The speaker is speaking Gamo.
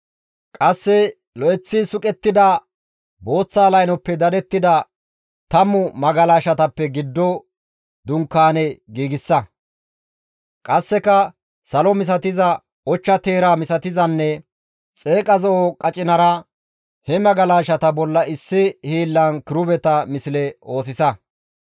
«Qasse lo7eththi suqettida booththa laynoppe dadettida tammu magalashata dunkaaneza giddon giigsa. Qasseka salo misatiza, ochcha teera misatizanne xeeqa zo7o qacinara he magalashata bolla issi hiillan kirubeta misle oosisa. Gaytoteththa dunkaane